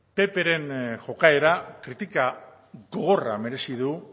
ppren jokaera kritika gogorra merezi du